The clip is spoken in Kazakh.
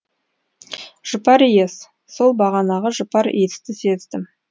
жұпар иіс сол бағанағы жұпар иісті сездім